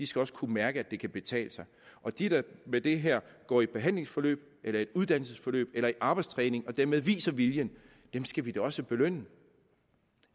skal kunne mærke at det kan betale sig og de der med det her går i behandlingsforløb uddannelsesforløb eller arbejdstræning og dermed viser viljen skal vi da også belønne